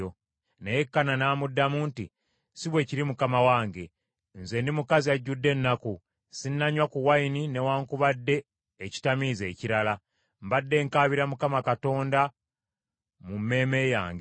Naye Kaana n’amuddamu nti, “Si bwe kiri mukama wange; nze ndi mukazi ajjudde ennaku. Sinnanywa ku wayini newaakubadde ekitamiiza ekirala; mbadde nkaabira Mukama Katonda mu mmeeme yange.